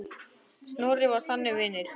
Snorri var sannur vinur.